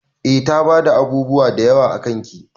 Eh ta fada abubuwa dayawa akan ki.